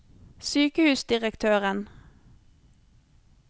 sykehusdirektøren